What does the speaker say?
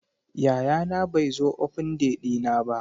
Yayana bai zo Open day dina ba.